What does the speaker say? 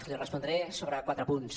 li respondré sobre quatre punts